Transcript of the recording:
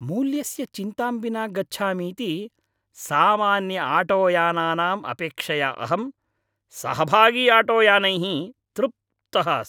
मूल्यस्य चिन्तां विना गच्छामीति सामान्यआटोयानानाम् अपेक्षया अहं सहभागीआटोयानैः तृप्तः अस्मि।